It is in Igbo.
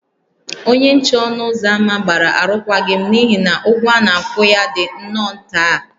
Onye nche ọnụ ụzọ ámá gbara arụkwaghịm n’ihi na ụgwọ a na-akwụ ya dị nnọọ nta